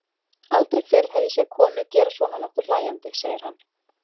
Aldrei fyrr hef ég séð konu gera svona nokkuð hlæjandi, segir hann.